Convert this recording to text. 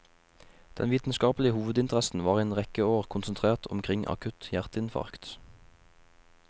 Den vitenskapelige hovedinteressen var i en rekke år konsentrert omkring akutt hjerteinfarkt.